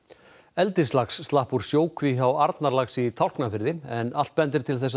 eldislax slapp úr sjókví hjá Arnarlaxi í Tálknafirði en allt bendir til